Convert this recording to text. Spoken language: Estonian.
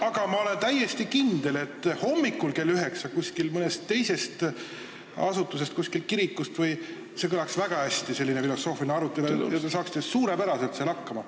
... aga ma olen täiesti kindel, et hommikul kell 9 mõnes teises asutuses, kuskil kirikus, kõlaks selline filosoofiline arutelu väga hästi ja te saaksite seal suurepäraselt hakkama.